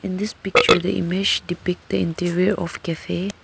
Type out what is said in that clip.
In this picture the image to pick the interview of cafe.